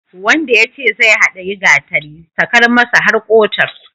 Wanda yace zai haɗiyi gatari, sakar masa har ƙotar.